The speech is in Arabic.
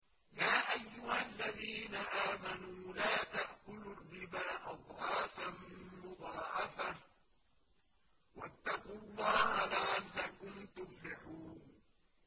يَا أَيُّهَا الَّذِينَ آمَنُوا لَا تَأْكُلُوا الرِّبَا أَضْعَافًا مُّضَاعَفَةً ۖ وَاتَّقُوا اللَّهَ لَعَلَّكُمْ تُفْلِحُونَ